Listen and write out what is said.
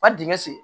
Ka dingɛ sen